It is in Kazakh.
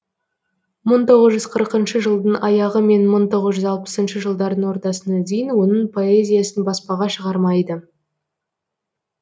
мың тоғыз жүз қырқыншы жылдың аяғы мен мың тоғыз жүз алпысыншы жылдардың ортасына дейін оның поэзиясын баспаға шығармайды